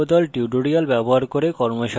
কথ্য tutorial প্রকল্প the